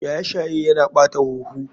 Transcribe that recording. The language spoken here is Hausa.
Shaye shaye Yana ɓata huhu.